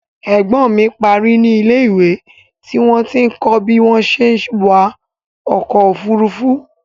Ẹ̀gbọ́n mi parí ní ilé ìwé tí wọ́n ti ń kọ bí wọ́n ṣé wa ọkọ òfúrúúfú